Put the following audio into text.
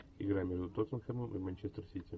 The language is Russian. игра между тоттенхэмом и манчестер сити